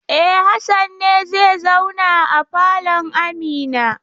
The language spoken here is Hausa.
E, Hassan ne zai zauna a falon Amina.